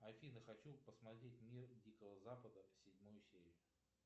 афина хочу посмотреть мир дикого запада седьмую серию